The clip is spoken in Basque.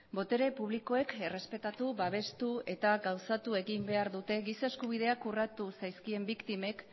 botere publikoek errespetatu babestu eta gauzatu egin behar dute giza eskubideak urratu zaizkien biktimek